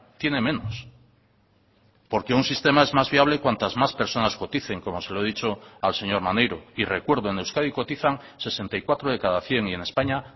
tiene menos porque un sistema es más viable cuantas más personas coticen como se lo he dicho al señor maneiro y recuerdo en euskadi cotizan sesenta y cuatro de cada cien y en españa